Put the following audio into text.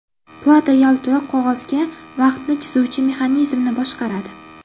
Plata yaltiroq qog‘ozga vaqtni chizuvchi mexanizmni boshqaradi.